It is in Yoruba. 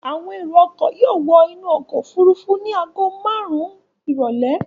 Àwọn èrò-ọkọ̀ yóò wọ inú ọkọ̀-òfurufú ní ago márùn-ún ìrọ́lẹ́.